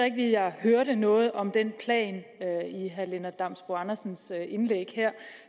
jeg hørte noget om den plan i herre lennart damsbo andersens indlæg her